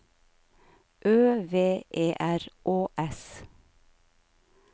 Ø V E R Å S